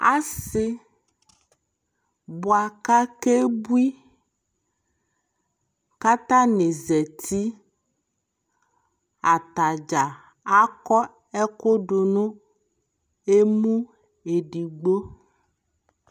Asi bua ka kɛ bui kata ni zatiAtadza akɔ ɛku du nu ɛmu ɛdigbo